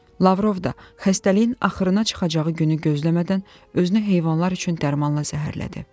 Lavrov da xəstəliyin axırına çıxacağı günü gözləmədən özünü heyvanlar üçün dərmanla zəhərlədi.